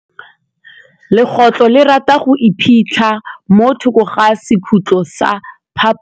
Legôtlô le rata go iphitlha mo thokô ga sekhutlo sa phaposi.